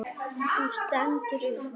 Þú stendur upp.